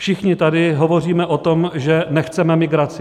Všichni tady hovoříme o tom, že nechceme migraci.